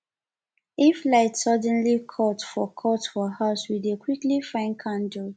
if light suddenly cut for cut for house we dey quickly find candle